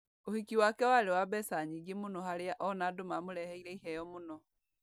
ũhiki wake warĩ wa mbeca nyingĩ mũno harĩa ona andũ mamũreheire iheo mũno